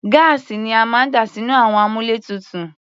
Gáàsì ni a máa ń dà sínú àwọn àmúlétuntun.